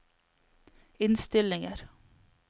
innstillinger